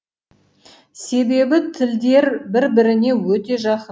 себебі тілдер бір біріне өте жақын